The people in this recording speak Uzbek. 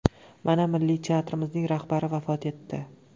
Mana, Milliy teatrimizning rahbari vafot etdi.